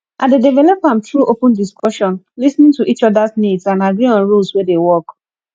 i dey develop am through open discussion lis ten ing to each odas needs and agree on rules wey dey work